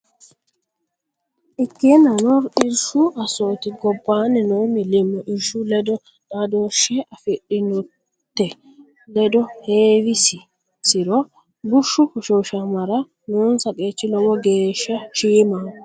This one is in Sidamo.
Ikkeennano, irshu assooti gob- baanni noo millimmo irshu ledo xaadooshshe afidhinnote ledo heewisi- insiro bushshu hoshooshamara noonsa qeechi lowo geeshsha shiimaho.